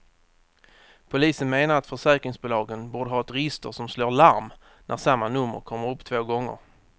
Polisen menar att försäkringsbolagen borde ha ett register som slår larm när samma nummer kommer upp två gånger.